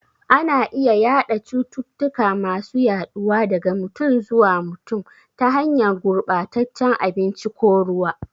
Ana iya yada cututtuka masu yaduwa daga mutum zuwa mutum, ta hanyar gurbataccen abinci ko ruwa.